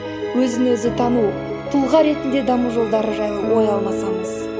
өзі өзі тану тұлға ретінде даму жолдары жайлы ой алмасамыз